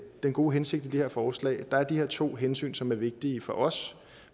den gode hensigt i de her forslag der er de her to hensyn som er vigtige for os